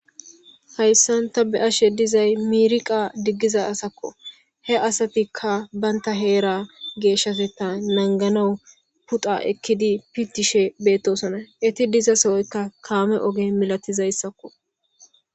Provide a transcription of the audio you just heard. hayssanta be ashe dizay miiriqa diggiza asakko he asatikka baynta heera geeshshaseta nanganawu puxa ekkidi pitishe beettosona iti dizasohoykka kaame oge milatizayssakko